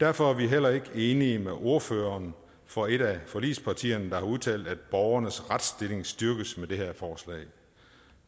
derfor er vi heller ikke enige med ordføreren for et af forligspartierne der har udtalt at borgernes retsstilling styrkes med det her forslag